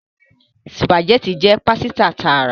Spaghetti jé pàsìta tààrà